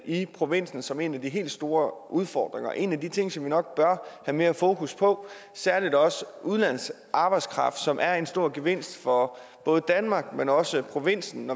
i provinsen som en af de helt store udfordringer og en af de ting som vi nok bør have mere fokus på særlig også udenlandsk arbejdskraft som er en stor gevinst for danmark men også for provinsen